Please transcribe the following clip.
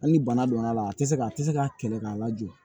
Hali ni bana donna a la a tɛ se a tɛ se ka kɛlɛ k'a lajɔ